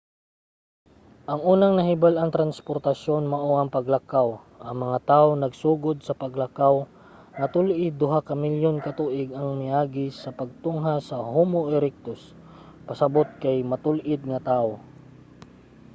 ang unang nahibal-ang transportasyon mao ang paglakaw. ang mga tawo nagsugod sa paglakaw nga tul-id duha ka milyon ka tuig ang miagi sa pagtungha sa homo erectus pasabot kay matul-id nga tawo